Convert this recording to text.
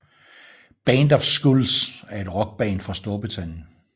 Band Of Skulls er et Rock band fra Storbritannien